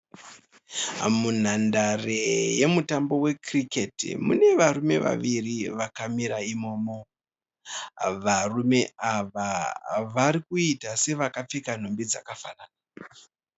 Munhandare yemutambo wekiriketi. Mune varume vaviri vakamira imomo. Varume ava vari kuita sevakapfeka nhumbi dzakafanana.